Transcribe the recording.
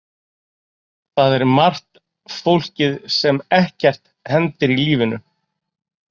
Það er margt fólkið sem ekkert hendir í lífinu.